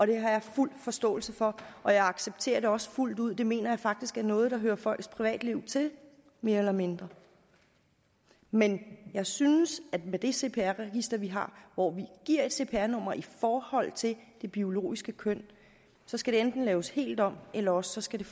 det har jeg fuld forståelse for og jeg accepterer det også fuldt ud det mener jeg faktisk er noget der hører folks privatliv til mere eller mindre men jeg synes at med det cpr register vi har hvor vi giver et cpr nummer i forhold til det biologiske køn skal det enten laves helt om eller også skal